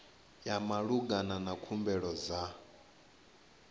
ya malugana na khumbelo dza